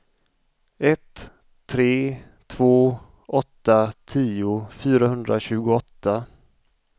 ett tre två åtta tio fyrahundratjugoåtta